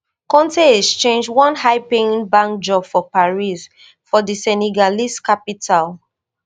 konte exchange one highpaying bank job for paris for di senegalese capital